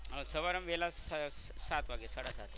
સવાર અમે વહેલા સાત વાગે સાડા સાતે.